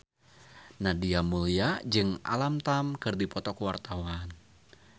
Nadia Mulya jeung Alam Tam keur dipoto ku wartawan